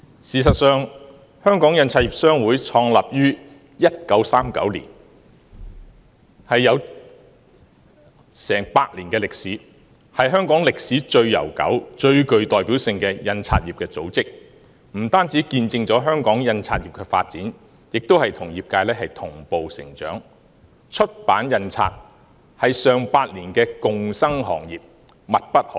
事實上，印刷業商會創立於1939年，有過百年的歷史，是香港歷史最悠久及最具代表性的印刷業組織，不單見證香港印刷業的發展，也與業界同步成長，出版印刷是上百年的共生行業，密不可分。